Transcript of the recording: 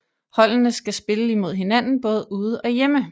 Holdene skal spille imod hinanden både ude og hjemme